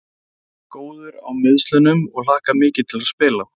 Ég er orðinn alveg góður á meiðslunum og hlakka mikið til að spila.